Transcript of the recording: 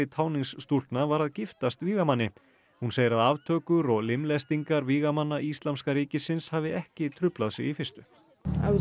táningsstúlkna var að giftast vígamanni hún segir að aftökur og limlestingar vígamanna íslamska ríkisins hafi ekki truflað sig í fyrstu hún